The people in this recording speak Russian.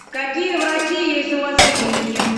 какие врачи есть у вас в клинике